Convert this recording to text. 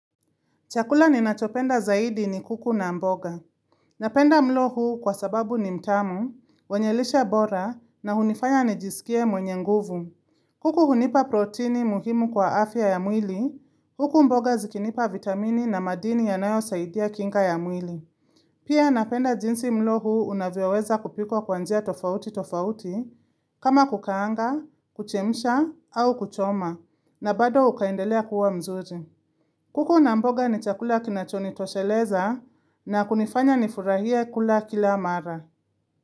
Chakula ninachopenda zaidi ni kuku na mboga. Napenda mlo huu kwa sababu ni mtamu, wenye lishe bora na hunifaya nijisikie mwenye nguvu. Kuku hunipa protini muhimu kwa afya ya mwili, huku mboga zikinipa vitamini na madini yanayosaidia kinga ya mwili. Pia napenda jinsi mlo huu unavyoweza kupikwa kwa njia tofauti tofauti, kama kukaanga, kuchemsha au kuchoma, na bado ukaendelea kuwa mzuri. Kuku na mboga ni chakula kinachonitosheleza na kunifanya nifurahie kula kila mara.